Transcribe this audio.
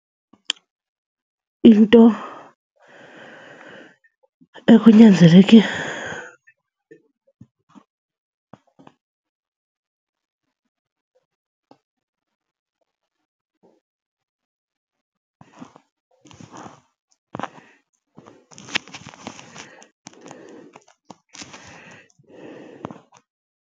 Into ekunyanzeleke.